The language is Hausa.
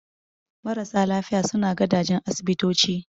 Marasa lafiya suna gadajen asibitoci